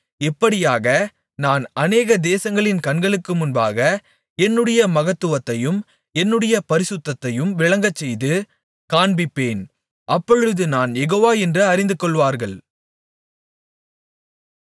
இப்படியாக நான் அநேக தேசங்களின் கண்களுக்கு முன்பாக என்னுடைய மகத்துவத்தையும் என்னுடைய பரிசுத்தத்தையும் விளங்கச்செய்து காண்பிப்பேன் அப்பொழுது நான் யெகோவா என்று அறிந்துகொள்வார்கள்